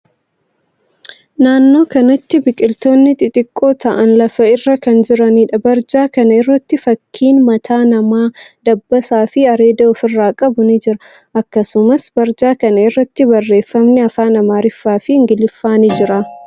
Naannoo kanatti biqiltootni xixiqqoo ta'an lafa irra kan jiraniidha. Barjaa kana irratti fakkiin mataa namaa, dabbasaa fi areeda ofirraa qabu ni jira. Akkasumas, barjaa kana irratti barreeffamni afaan Amaariffaa fi Ingiliffaa ni jira.